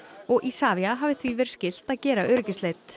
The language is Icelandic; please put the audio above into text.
og Isavia hafi því verið skylt að gera